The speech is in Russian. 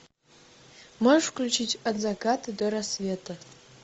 можешь включить от заката до рассвета